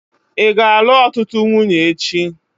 Ị ga-alụ ọtụtụ nwunye echi?